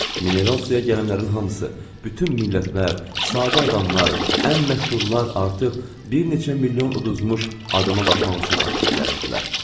Mineral suya gələnlərin hamısı, bütün millətlər, sadə adamlar, ən məşhurlar artıq bir neçə milyon uduzmuş adama baxmaq üçün axışıb gəlirdilər.